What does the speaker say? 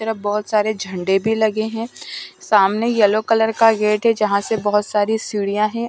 तरफ बहुत सारे झंडे भी लगे हैं सामने येलो कलर का गेट है यहाँ से बहुत सारी सीढ़ियां हैं।